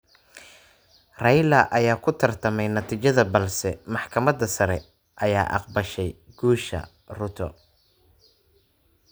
Raila ayaa ku tartamay natiijada balse maxkamada sare ayaa aqbashay guusha Ruto.